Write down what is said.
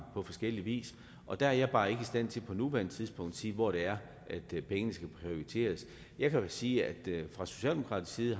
på forskellig vis og der er jeg bare ikke i stand til på nuværende tidspunkt at sige hvor det er pengene skal prioriteres jeg kan sige at vi fra socialdemokratisk side